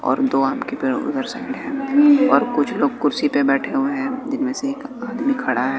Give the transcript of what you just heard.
और दो आम के पेड़ उधर साइड हैं और कुछ लोग कुर्सी पे बैठे हुए हैं जिनमें से एक आदमी खड़ा है।